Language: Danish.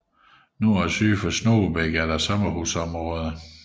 Nord og syd for Snogebæk er der sommerhusområder